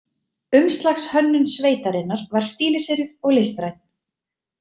Umslagshönnun sveitarinnar var stíliseruð og listræn.